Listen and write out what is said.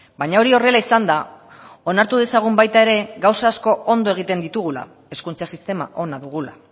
baina hori horrela izanda onartu dezagun baita ere gauza asko ondo egiten ditugula hezkuntza sistema ona dugula